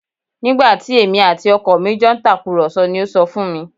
Nígbà tí èmi àti ọkọ mi jọ ń tàkùrọ̀sọ ni ó sọ fún mi